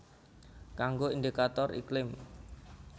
Kanggo indikator iklim